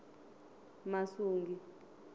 masungi